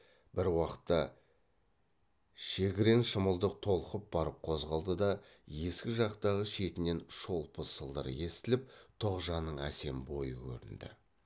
бір уақытта шегірен шымылдық толқып барып қозғалды да есік жақтағы шетінен шолпы сылдыры естіліп тоғжанның әсем бойы көрінді